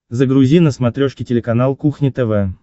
загрузи на смотрешке телеканал кухня тв